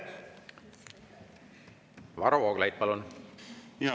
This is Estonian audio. Varro Vooglaid, palun!